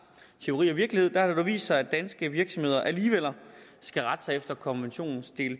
teori og virkelighed og der vist sig at danske virksomheder alligevel skal rette sig efter konventionens del